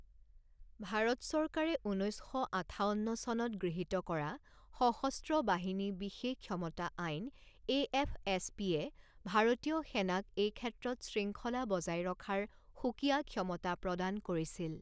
ভাৰত চৰকাৰে ঊনৈছ শ আঠাৱন্ন চনত গৃহীত কৰা সশস্ত্ৰ বাহিনী বিশেষ ক্ষমতা আইন এ এফ এছ পি এয়ে ভাৰতীয় সেনাক এই ক্ষেত্ৰত শৃংখলা বজাই ৰখাৰ সুকীয়া ক্ষমতা প্ৰদান কৰিছিল।